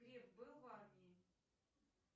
греф был в армии